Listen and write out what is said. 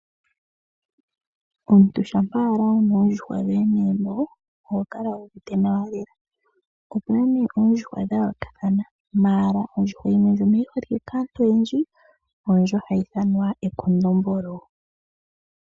Omuntu ngele wuna oondjuhwa dhoye megumbo oho kala wuuvite nawa lela. Oondjuhwa odha yoolokathana puna onkadhindjuhwa noshowoo omakondombolo. Ekondombolo olyi li li holike kaantu oyendji.